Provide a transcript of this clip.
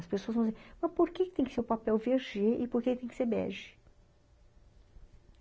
As pessoas vão dizer, mas por que tem que ser o papel vê gê e por que tem que ser bege?